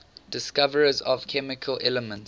discoverers of chemical elements